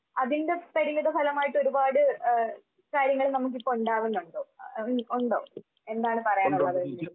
അതിന്റെ പരിണിതഫലമായിട്ട് ഒരുപാട് ആഹ് കാര്യങ്ങൾ നമുക്കിപ്പൊ ഉണ്ടാവുന്നുണ്ടോ? ഇനി ഉണ്ടോ? എന്താണ് പറയാനുള്ളത്?